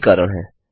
यह कारण है